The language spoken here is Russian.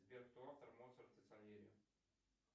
сбер кто автор моцарт и сальери